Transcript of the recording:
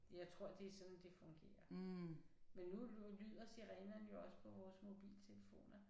Jeg tror det er sådan det fungerer. Men nu lyder sirenerne jo også på vores mobiltelefoner